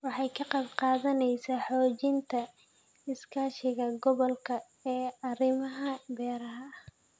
Waxay ka qayb qaadanaysaa xoojinta iskaashiga gobolka ee arrimaha beeraha.